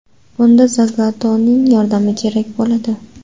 Bunda Zagato‘ning yordami kerak bo‘ladi.